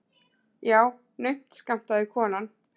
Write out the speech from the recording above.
Já, naumt skammtaði konan.